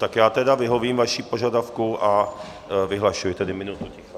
Tak já tedy vyhovím vašemu požadavku a vyhlašuji minutu ticha.